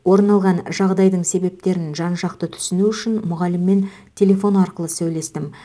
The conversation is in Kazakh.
орын алған жағдайдың себептерін жан жақты түсіну үшін мұғаліммен телефон арқылы сөйлестім